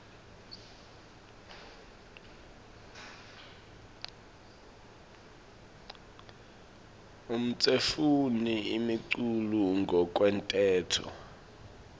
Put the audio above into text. emtsetfweni imiculu ngekwemtsetfo